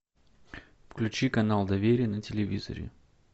включи канал доверие на телевизоре